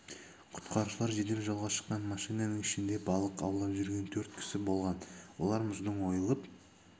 құтқарушылар жедел жолға шыққан машинаның ішінде балық аулап жүрген төрт кісі болған олар мұздың ойылып